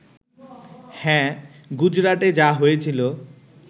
হ্যাঁ, গুজরাটে যা হয়েছিল